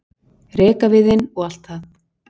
rekaviðinn og allt það.